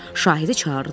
Şahidi çağırdılar.